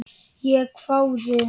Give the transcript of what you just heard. Ég hváði.